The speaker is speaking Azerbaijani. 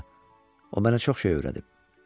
Hə, o mənə çox şey öyrədib.